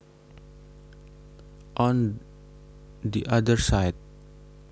On the other side